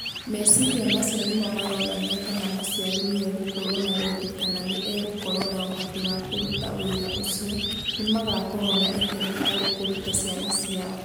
Meciria macio nĩmo maronania kana mũciari nĩ egũkorũo na wendi kana nĩ egũkorũo na ũhoti wa kũruta wĩra ũcio, nĩ magakorũo na itemi harĩ kũruta ciana ciao.